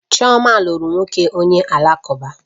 Chioma lụrụ nwoke onye Alakụba